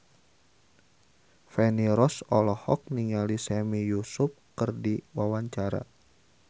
Feni Rose olohok ningali Sami Yusuf keur diwawancara